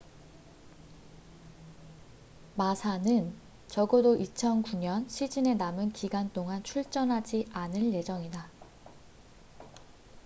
마사massa는 적어도 2009년 시즌의 남은 기간 동안 출전하지 않을 예정이다